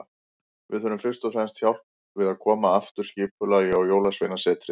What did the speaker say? Við þurfum fyrst og fremst hjálp við að koma aftur skipulagi á Jólasveinasetrið.